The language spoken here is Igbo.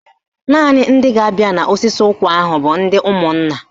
Naanị ndị ga-abịa n'osisi ụkwa ahụ bụ ndị ụmụnna